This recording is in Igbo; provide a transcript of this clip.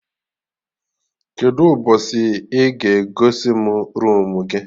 Kedụ mgbọsị ị ga egosi mụ roomu gị?